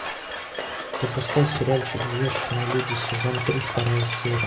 запускай сериальчик взвешенные люди сезон три вторая серия